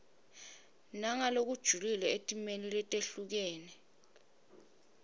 nangalokujulile etimeni letehlukene